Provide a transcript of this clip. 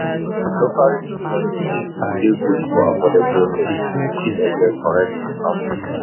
Local joints dey good for affordable meal; you fit enjoy correct local food.